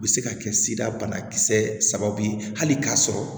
U bɛ se ka kɛ sirabanakisɛ sababu ye hali k'a sɔrɔ